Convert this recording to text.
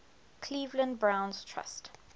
cleveland browns trust